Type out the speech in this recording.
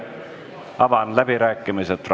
Avan fraktsioonide läbirääkimised.